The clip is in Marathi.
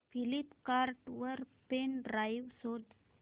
फ्लिपकार्ट वर पेन ड्राइव शोधा